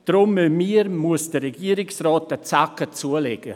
Deshalb müssen sowohl wir als auch der Regierungsrat einen Zacken zulegen.